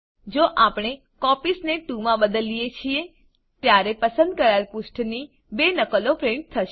જો આપણે કોપીઝ ને 2 માં બદલીએ છીએ ત્યારે પસંદ કરાયેલ પુષ્ઠની 2 નકલો પ્રીંટ થશે